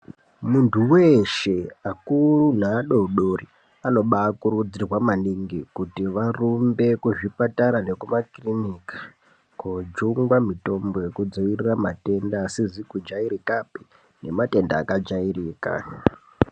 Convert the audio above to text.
Muntu weshe akuru neadodori, anobakurudzirwa maningi kuti varumbe kuzvipatara nekumakiriniki, kojungwa mitombo yekudzivirira matenda asizi kujayirikapi, nematenda akajayirika.